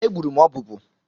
Egburu m ọbụbụụ.